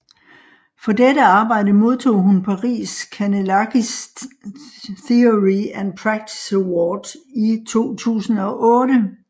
For dette arbejde modtog hun Paris Kanellakis Theory and Practice Award i 2008